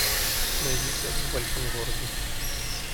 найди секс в большом городе